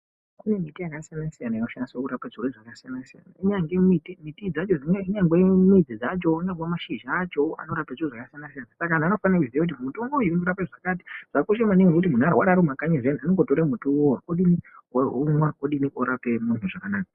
Kune miti yaka siyana siyana inoshandiswa kurape zvirwere zvaka siyana siyana inyange midzi dzacho inyange midzi dzacho inyange mashidza acho ano rape zviro zvaka siyana siyana saka antu anofanirwe kuziya kuti mitombo iyi ino rapa zvakati zvakakosha maningi kuti muntu aka rwara ari mu makanyi unongo tora miti iwowo omwa odini orapike zvakanaka.